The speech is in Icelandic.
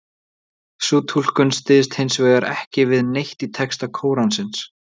Sú túlkun styðst hins vegar ekki við neitt í texta Kóransins.